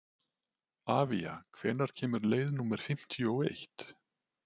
Avía, hvenær kemur leið númer fimmtíu og eitt?